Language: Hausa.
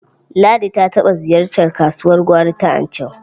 Ladi ta taɓa ziyartar kasuwar gwari ta Anchau.